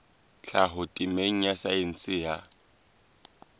tlhaho temeng ya saense ya